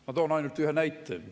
Ma toon ainult ühe näite.